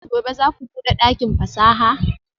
Gobe ​​zaku bude dakin fasaha?